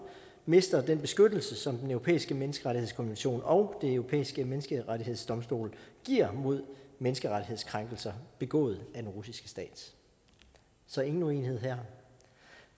mister den beskyttelse som den europæiske menneskerettighedskonvention og den europæiske menneskerettighedsdomstol giver mod menneskerettighedskrænkelser begået af den russiske stat så ingen uenighed her